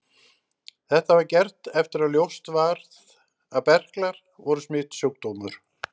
Þetta var gert eftir að ljóst varð að berklar voru smitsjúkdómur.